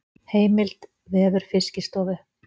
Heimild: Vefur Fiskistofu.